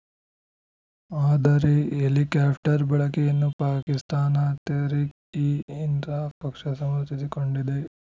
ಆದರೆ ಹೆಲಿಕ್ಯಾಪ್ಟರ್ ಬಳಕೆಯನ್ನು ಪಾಕಿಸ್ತಾನ ತೆಹ್ರಿಕ್‌ ಇ ಇನ್ಸಾಫ್‌ ಪಕ್ಷ ಸಮರ್ಥಿಸಿಕೊಂಡಿದೆ